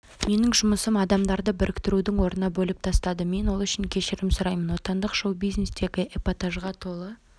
менің жұмысым адамдарды біріктірудің орнына бөліп тастады мен ол үшін кешірім сұраймын отандық шоу-бизнестегі эпатажға толы